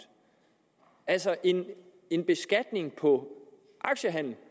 altså en en beskatning på aktiehandel